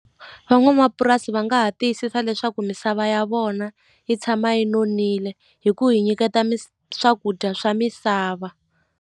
Van'wamapurasi va nga ha tiyisisa leswaku misava ya vona yi tshama yi nonile hi ku hi nyiketa swakudya swa misava.